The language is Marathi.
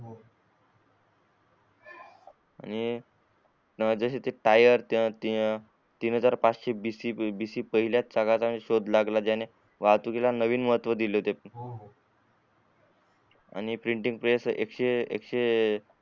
आणि जशे ते टायर तिनी जर पाचशे पहिल्या च बीसी पहिल्याच याने शोध लागला ज्याने वाहतुकीला नवीन महत्व दिले होते आणि प्रिंटिंग प्रेस एकशे एकशे